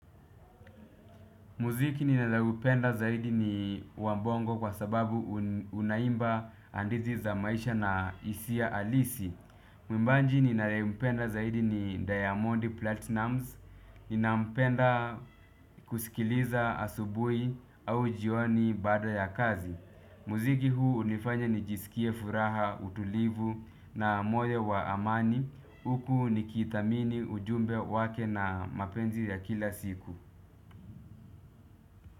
Muziki ninaloupenda zaidi ni wa bongo kwa sababu unaimba hadithi za maisha na hisia halisi. Mwimbaji ninayempenda zaidi ni diamond platinumz. Ninampenda kusikiliza asubuhi au jioni baada ya kazi. Muziki huu hunifanya nijisikie furaha, utulivu na moyo wa amani. Huku nikithamini ujumbe wake na mapenzi ya kila siku.